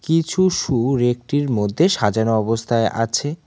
কিছু শু রেক -টির মধ্যে সাজানো অবস্থায় আছে।